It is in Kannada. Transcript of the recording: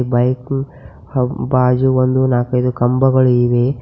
ಬೈಕು ಹಾಗೂ ಬಾಜು ಒಂದು ನಾಕೈದು ಕಂಬಗಳಿವೆ.